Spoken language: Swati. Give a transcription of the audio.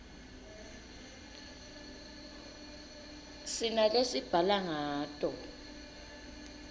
sinalesibhala ngato